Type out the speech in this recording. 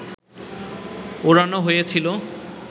ওড়ানো হয়েছিল